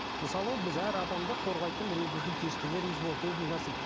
мысалы біз әр адамды қорғайтын бір өзіміздің періштелеріміз болады